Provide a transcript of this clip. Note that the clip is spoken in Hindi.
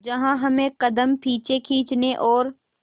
जहां हमें कदम पीछे खींचने और